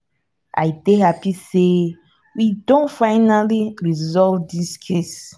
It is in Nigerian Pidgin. i dey happy say we don finally resolve dis case